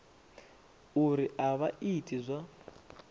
uri a vha iti zwa